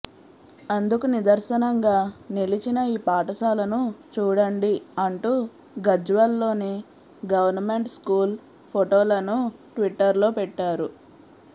అందుకు నిదర్శనంగా నిలిచిన ఈ పాఠశాలను చూడండి అంటూ గజ్వెల్ లోని గవర్నమెంట్ స్కూల్ పోటోలను ట్విట్టర్ లో పెట్టారు